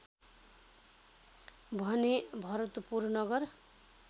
भने भरतपुर नगर